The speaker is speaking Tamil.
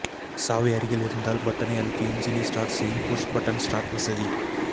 சாவி அருகில் இருந்தால் பட்டனை அழுத்தி எஞ்சினை ஸ்டார்ட் செய்யும் புஷ் பட்டன் ஸ்டார்ட் வசதி